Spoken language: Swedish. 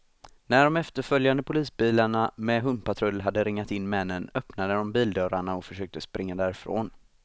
När de efterföljande polisbilarna med hundpatrull hade ringat in männen, öppnade de bildörrarna och försökte springa därifrån.